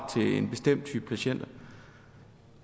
til en bestemt type patienter